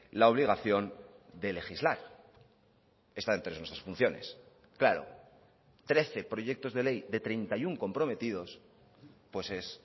la obligación de legislar está entre nuestras funciones claro trece proyectos de ley de treinta y uno comprometidos pues es